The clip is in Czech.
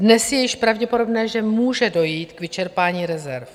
Dnes je již pravděpodobné, že může dojít k vyčerpání rezerv.